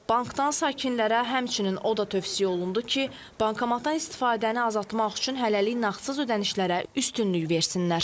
Bankdan sakinlərə həmçinin o da tövsiyə olundu ki, bankomatdan istifadəni azaltmaq üçün hələlik nağdsız ödənişlərə üstünlük versinlər.